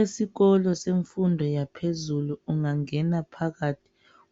Esikolo semfundo yaphezulu ungangena phakathi